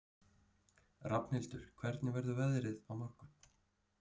Rafnhildur, hvernig verður veðrið á morgun?